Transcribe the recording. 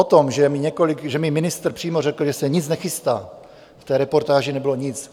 O tom, že mi ministr přímo řekl, že se nic nechystá, v té reportáži nebylo nic.